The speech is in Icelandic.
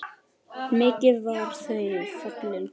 Mikið voru þau fallegt par.